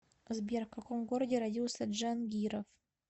сбер в каком городе родился джангиров